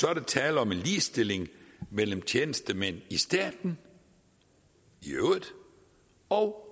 er tale om en ligestilling mellem tjenestemænd i staten i øvrigt og